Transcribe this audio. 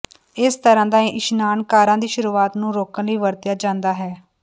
ਇਸ ਤਰ੍ਹਾਂ ਦਾ ਇਸ਼ਨਾਨ ਕਾਰਾਂ ਦੀ ਸ਼ੁਰੂਆਤ ਨੂੰ ਰੋਕਣ ਲਈ ਵਰਤਿਆ ਜਾਂਦਾ ਹੈ